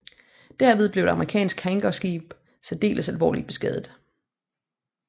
Derved blev et amerikansk hangarskib særdeles alvorligt beskadiget